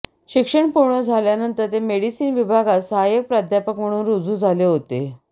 शिक्षण पूर्ण झाल्यानंतर ते मेडिसीन विभागात सहायक प्राध्यापक म्हणून रुजू झाले होते